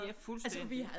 Ja fuldstændig